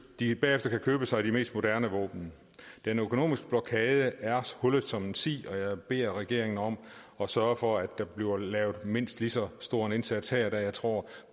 de bagefter kan købe sig de mest moderne våben den økonomiske blokade er hullet som en si og jeg beder regeringen om at sørge for at der bliver lavet en mindst lige så stor indsats da jeg tror